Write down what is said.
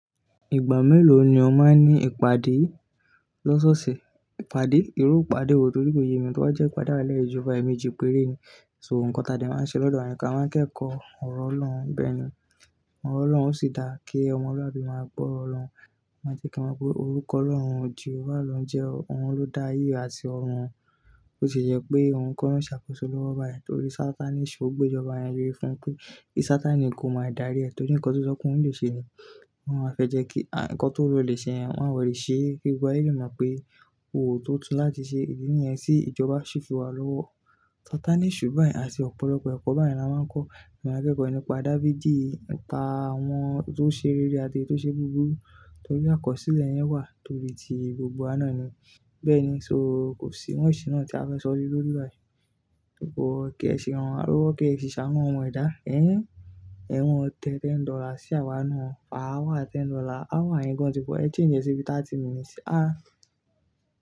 Ìgbà mélòó ni o máa ní ìpàdé lọ́sọ́ọ̀sẹ̀? Ìpàdé, irú ìpàdé wo torí pé èyí mi tó bá jẹ́ ìpàdé ààlẹ́ ìjọba ẹ̀mí jí péré ni, so nǹkan tàbí máa ń ṣe lọ́dọ̀ àyíká máa ń kẹ́kọ̀ọ́ ọ̀rọ̀ Ọlọ́run. Bẹ́ẹ̀ ni, ọ̀rọ̀ Ọlọ́rùn ó sì dáa kí ọmọlúàbí máa gbọ́ ọrọ̀ Ọlọ́run, o máa jẹ́ kí wọ́n mọ pé orúkọ Ọlọ́run Jehovah ló ń jẹ́ ohun ló dá ayé àti ọrùn. Ó se jẹ́ pé ohun ko lo n ṣàkóso lọ́wọ́ báyìí torí Sataní eṣù ó gbé ìjọba yẹn le fún pé kí Sataníì kò máa dárí ẹ torí nǹkan tó sọ́ pe oun lè ṣe ni. Wọn a fẹ́ jẹ́ kí ǹkan tó le ṣe ẹ wọ́n ó lè ṣe kí gbogbo ayé lè mọ̀ pé òótọ́ láti ṣe ìdí nìyẹn tí ìjọba ṣe fi wà lọ́wọ́. Sataní eṣù báyìí àti ọ̀pọ̀lọpọ̀ ẹ̀kọ́ báyen la máa ń kọ́ a maa n kẹ́kọ̀ọ́ nípa Dáfídì, nipa àwọn tó ṣe rere àti èyí tó ṣe búburú torí àkọsílẹ̀ yẹn wà torí ti gbogbo wa naá ni. Bẹ́ẹ̀ ni, so kò sí much náà tí a fẹ́ sọ lee lórí báyìí. Depo kí ẹ ṣi ran wa lowo, kí ẹ si ṣàánu ọmọ ẹ̀dá ẹ. E moo te ten dollar sí àwa náà. Per hour ten dollar, hour yen gan ti pọ̀, ẹ change e sí bii 30 minutes ah ah.